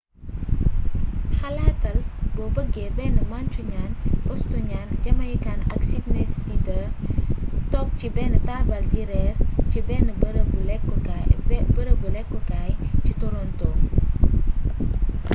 xalaatal boo bëggé benn mancunian bostonian jamaican ak sydneysider toog ci benn tabal di réer ci benn bërëbu lékk kaay ci toronto